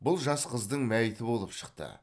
бұл жас қыздың мәйіті болып шықты